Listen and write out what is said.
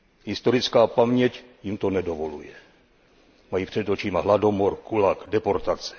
Historická paměť jim to nedovoluje. Mají před očima hladomor, gulag, deportace.